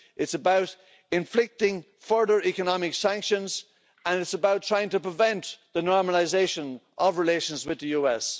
it is about inflicting further economic sanctions and it is about trying to prevent the normalisation of relations with the US.